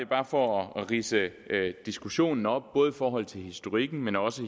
bare for at ridse diskussionen op både i forhold til historikken men også